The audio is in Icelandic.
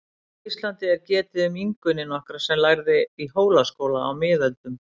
Á Íslandi er getið um Ingunni nokkra sem lærði í Hólaskóla á miðöldum.